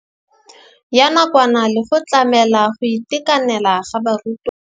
Ya nakwana le go tlamela go itekanela ga barutwana.